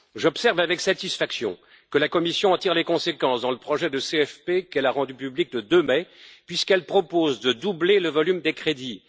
J'observe avec satisfaction que la Commission en tire les conséquences dans le projet de cadre financier pluriannuel qu'elle a rendu public le 2 mai, puisqu'elle propose de doubler le volume des crédits.